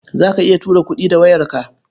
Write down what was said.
Za ka iya tura kuɗi da wayarka?